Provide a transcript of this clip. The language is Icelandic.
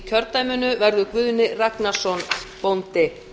kjördæminu verður guðni ragnarsson bóndi